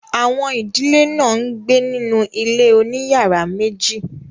àwọn ìdílé náà ń gbé nínú ilé òní yàrá meji.